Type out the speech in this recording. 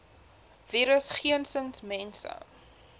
virus geensins mense